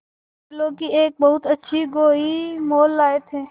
बैलों की एक बहुत अच्छी गोई मोल लाये थे